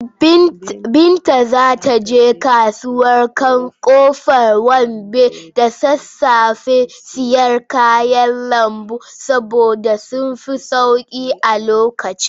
Binta za ta je kasuwar Ƙofar Wambai da sassafe sayen kayan lambu saboda sun fi sauƙi a lokacin.